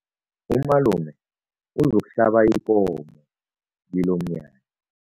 Umalume uzokuhlaba ikomo kilomnyanya.